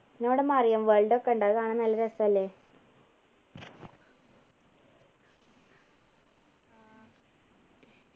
പിന്നെ അവിടെ marine world ഒക്കെ ഉണ്ട് അത് കാണാൻ നല്ല രസല്ലേ